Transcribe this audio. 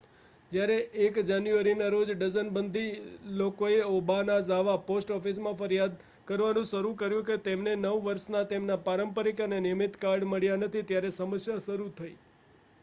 જ્યારે 1 જાન્યુઆરીના રોજ ડઝનબંધી લોકોએ ઓબાનાઝાવા પોસ્ટ ઑફિસમાં ફરિયાદ કરવાનું શરૂ કર્યું કે તેમને નવ વર્ષના તેમના પારંપરિક અને નિયમિત કાર્ડ મળ્યાં નથી ત્યારે સમસ્યા શરૂ થઈ